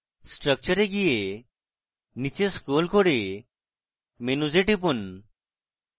structure এ go নীচে scroll করে menus এ টিপুন